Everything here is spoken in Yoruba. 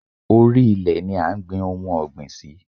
Orí ilẹ̀ ni à ń gbin ohun ọ̀gbìn sí.